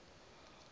isinyathelo